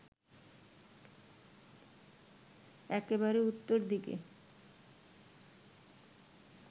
একেবারে উত্তর দিকে